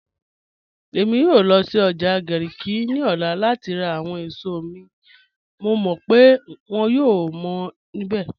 Ẹ̀mi yòò lọ́ sí ọ́jà Garki ni ọ̀lá láti rá àwọn èṣọ̀ mi, mọ̀ mọ́ pe wọ́n yòò mọ́ nibẹ̀